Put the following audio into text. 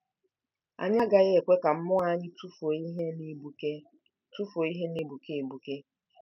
Anyị agaghị ekwe ka mmụọ anyị tụfuo ihe na-egbuke tụfuo ihe na-egbuke egbuke